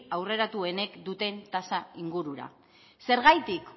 aurreratuenek duten tasa ingurura zergatik